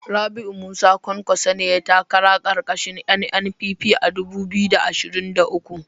Rabiu Musa kwankwaso ne yayi takara karkashin NNPP a 2023